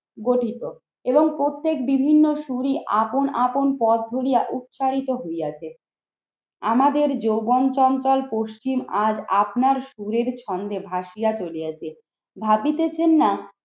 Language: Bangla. গঠিত এবং প্রত্যেক বিভিন্ন শুরি আপন আপন পথ ধরিয়া উৎসাহিত হইয়াছে। আমাদের যৌবন সংকল পশ্চিম আর আপনার সুরের ছন্দে ভাসিয়া চলিয়াছে। ভাবিতেছেন না